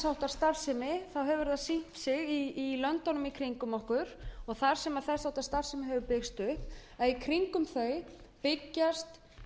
sýnt sig í löndunum í kringum okkur og þar sem þess háttar starfsemi hefur byggst upp að í kringum þau byggjast